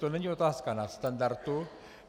To není otázka nadstandardu.